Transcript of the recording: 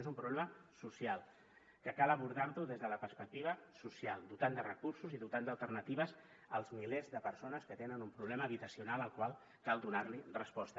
és un problema social que cal abordar des de la perspectiva social dotant de recursos i dotant d’alternatives els milers de persones que tenen un problema habitacional al qual cal donar resposta